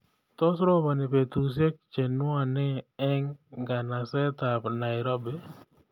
Tos robon betushek chenwone eng nganaseetab Nairobi